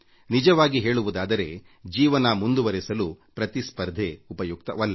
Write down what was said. ನಿಜವಾಗಿ ಹೇಳುವುದಾದರೆ ಜೀವನ ಮುಂದುವರೆಸಲು ಪ್ರತಿಸ್ಪರ್ಧೆ ಉಪಯುಕ್ತವಲ್ಲ